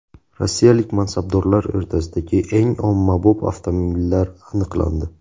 Rossiyalik mansabdorlar o‘rtasidagi eng ommabop avtomobillar aniqlandi.